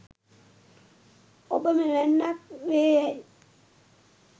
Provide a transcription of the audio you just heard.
ඔබ මෙවැන්නක් වේ යැයි